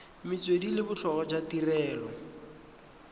metswedi le botlhokwa jwa tirelo